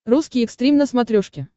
русский экстрим на смотрешке